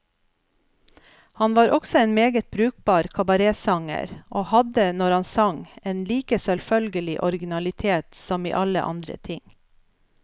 Han var også en meget brukbar kabaretsanger, og hadde, når han sang, en like selvfølgelig originalitet som i alle andre ting.